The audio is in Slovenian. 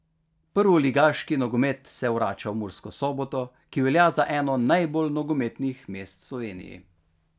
Prvoligaški nogomet se vrača v Mursko Soboto, ki velja za eno najbolj nogometnih mest v Sloveniji.